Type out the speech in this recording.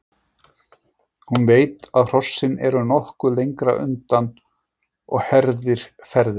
Hún veit að hrossin eru nokkuð lengra undan og herðir ferðina.